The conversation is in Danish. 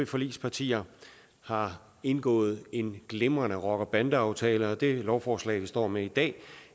forligspartierne har indgået en glimrende rocker bande aftale det lovforslag vi står med i dag